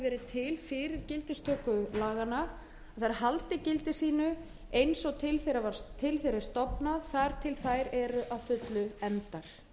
til fyrir gildistöku laganna þær haldi gildi sínu eins og til þeirra er stofnað þar til þær eru að fullu efndar